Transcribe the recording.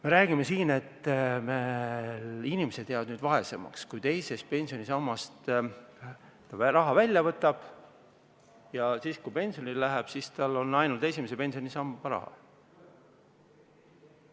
Me räägime siin, et inimene jääb vaesemaks, et kui ta teisest pensionisambast raha välja võtab ja pensionile läheb, siis tal on ainult esimese pensionisamba raha.